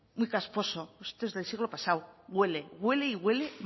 muy casposo esto es del siglo pasado huele huele y huele